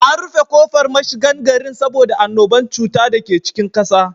An rufe kofar mashigan gari saboda annuban cuta dake cikin ƙasa.